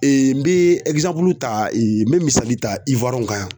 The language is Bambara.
n bi ta n bi misali ta kan yan